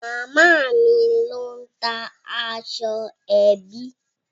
Màámi ló ń ta aṣọ ẹbí.